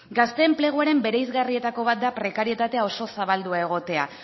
gazte enpleguaren bereizgarrietako bat da prekarietatea oso zabaldua egotea